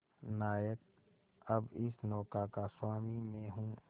नायक अब इस नौका का स्वामी मैं हूं